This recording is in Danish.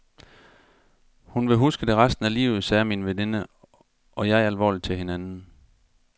Hun vil huske det resten af livet, sagde min veninde og jeg alvorligt til hinanden.